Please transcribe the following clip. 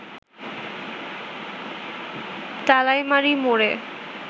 তালাইমারি মোড়ে